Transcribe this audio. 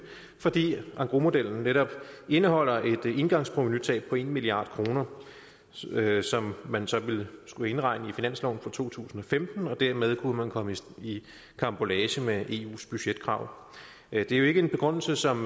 fordi engrosmodellen netop indeholder et engangsprovenutab på en milliard kr som man så ville skulle indregne i finansloven for to tusind og femten og dermed kunne man komme i karambolage med eus budgetkrav det er jo ikke en begrundelse som